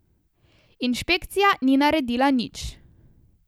Inšpekcija ni naredila nič.